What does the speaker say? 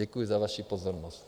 Děkuju za vaši pozornost.